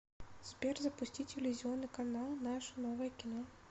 сбер запусти телевизионный канал наше новое кино